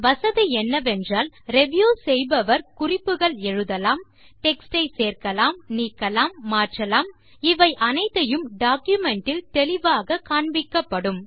வசதி என்னவென்றால் ரிவ்யூ செய்பவர் குறிப்புகள் எழுதலாம் டெக்ஸ்ட் ஐ சேர்க்கலாம் நீக்கலாம் மாற்றலாம் இவை அத்தனையும் டாக்குமென்ட் இல் தெளிவாக காண்பிக்கப்படும்